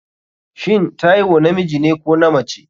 shin Taiwo namijine ko namace?